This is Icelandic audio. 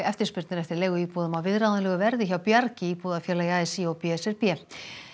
eftirspurn er eftir leiguíbúðum á viðráðanlegu verði hjá Bjargi íbúðafélagi a s í og b s r b